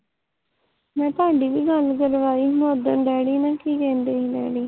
ਮੈਂ ਤੁਹਾਡੀ ਵੀ ਗੱਲ ਕਰਵਾਈ ਸੀ ਮੈਂ ਉਦਣ ਡੈਡੀ ਨਾਲ ਕੀ ਕਹਿੰਦੇ ਸੀ ਡੈਡੀ